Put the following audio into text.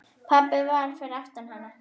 Pabbi fyrir aftan hana: